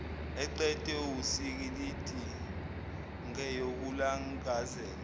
eqedwa wusikilidi ngeyokulangazela